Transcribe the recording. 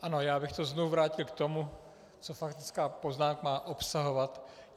Ano, já bych to znovu vrátil k tomu, co faktická poznámka má obsahovat.